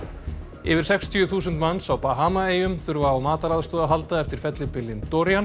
yfir sextíu þúsund manns á Bahamaeyjum þurfa á mataraðstoð að halda eftir fellibylinn